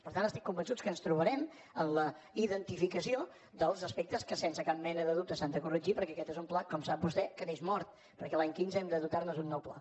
per tant estic convençut que ens trobarem en la identificació dels aspectes que sense cap mena de dubte s’han de corregir perquè aquest és un pla com sap vostè que neix mort perquè l’any quinze hem de dotar nos d’un nou pla